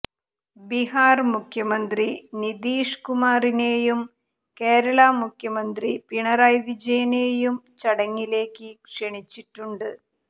ബീഹാര് മുഖ്യമന്ത്രി നിതീഷ് കുമാറിനെയും കേരളാ മുഖ്യമന്ത്രി പിണറായി വിജയനെയും ചടങ്ങിലേയ്ക്ക് ക്ഷണിച്ചിട്ടുണ്ട്